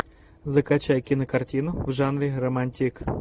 закачай кинокартину в жанре романтик